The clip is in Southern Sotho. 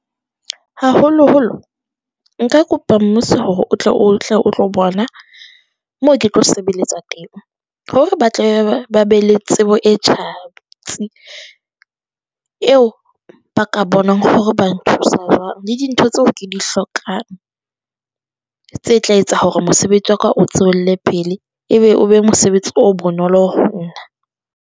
Haholo-holo nka kopa mmuso hore o tle o tle o tlo bona moo ke tlo sebeletsa teng. Hore ba tla be ba be le tsebo e tjhatsi, eo ba ka bonang hore ba nthusa jwang le dintho tseo ke di hlokang, tse tla etsa hore mosebetsi wa ka o tswelle pele ebe o be mosebetsi o bonolo ho nna.